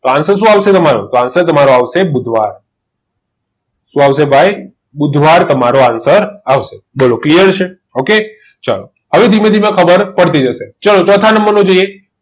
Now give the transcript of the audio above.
તો answer શું આવશે તમારે તો answer આવશે બુધવાર શું આવશે ભાઈ બુધવાર તમારો answer આવશે બોલો ક્લિયર છે okay ચાલો હવે ધીમે ધીમે ખબર પડતી જશે ચલો ચોથા નંબરનો જોઈએ